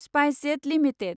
SpiceJet limited